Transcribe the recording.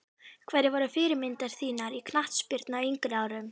Hverjar voru fyrirmyndir þínar í knattspyrnu á yngri árum?